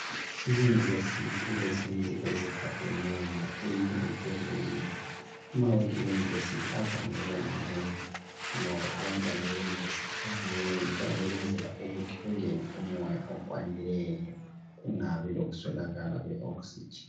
Iyunivesithi ilezindlu ezigadeneyo eyinye phezulu kweyinye amawindi e yunivesithi avame ukuba manengi ngoba abantwana beyunivesithi banengi kuyabe kuyenzelwa ukuthi kungene umoya okwanileyo kungabi lokuswelakala kwe oxygen.